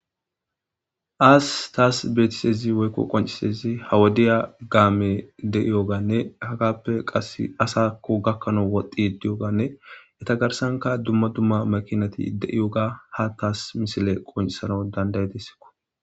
Has tasi betizaysi woyko qoncizays, ha wodiya kaame de'iyoganne hagappe qasi asako gakanawu woxidi diyoganne eta garsanka qasi dumma dumma makinati de'iyoga ha tasi misiley qoncisanawu danda'idesiko.